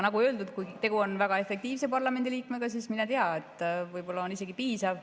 Nagu öeldud, kui tegu on väga efektiivse parlamendiliikmega, siis mine tea, võib-olla on isegi piisav.